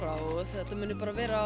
og þetta muni bara vera